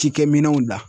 Cikɛminɛnw da